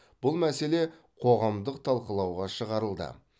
бұл мәселе қоғамдық талқылауға шығарылды